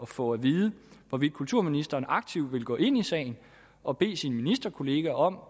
få at vide hvorvidt kulturministeren aktivt vil gå ind i sagen og bede sine ministerkolleger om